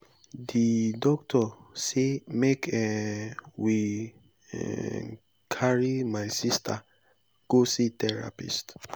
di doctor sey make um we um carry my sista go see therapist.